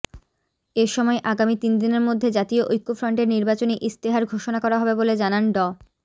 এসময় আগামী তিন দিনের মধ্যে জাতীয় ঐক্যফ্রন্টের নির্বাচনী ইশতেহার ঘোষণা করা হবে বলে জানান ড